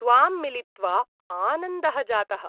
त्वां मिलित्वा आनन्दः जातः।